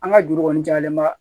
An ka juru kɔni jalen ma